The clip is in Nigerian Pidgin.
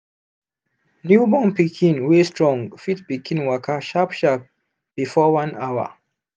newborn pikin wey strong fit begin waka sharp sharp before one hour